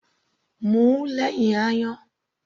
Mu ú lẹ́hìn ayan.